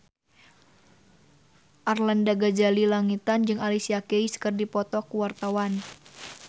Arlanda Ghazali Langitan jeung Alicia Keys keur dipoto ku wartawan